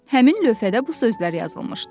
Həmin lövhədə bu sözlər yazılmışdı: